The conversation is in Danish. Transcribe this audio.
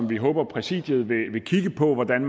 vi håber at præsidiet vil kigge på hvordan